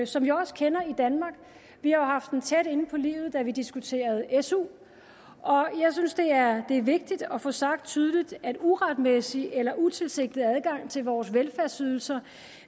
som vi også kender i danmark vi har haft den tæt inde på livet da vi diskuterede su og jeg synes at det er vigtigt at få sagt tydeligt at uretmæssig eller utilsigtet adgang til vores velfærdsydelser